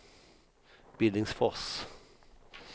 Billingsfors